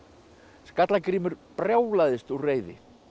Skallagrímur brjálaðist úr reiði